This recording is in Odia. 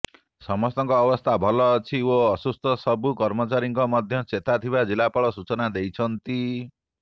ସମସ୍ତଙ୍କ ଅବସ୍ଥା ଭଲ ଅଛି ଓ ଅସୁସ୍ଥ ସବୁ କର୍ମଚାରୀଙ୍କର ମଧ୍ୟ ଚେତା ଥିବା ଜିଲ୍ଲାପାଳ ସୂଚନା ଦେଇଛନ୍ତି